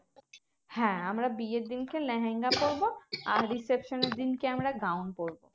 হ্যাঁ আমরা বিয়ের দিনকে লেহেঙ্গা পরবো আর reception এর দিনকে আমরা gown পরবো